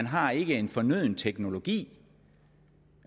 har en fornøden teknologi